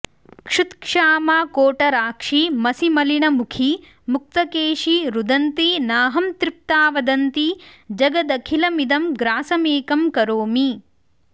क्षुत्क्षामा कोटराक्षी मसिमलिनमुखी मुक्तकेशी रुदन्ती नाहं तृप्ता वदन्ती जगदखिलमिदं ग्रासमेकं करोमि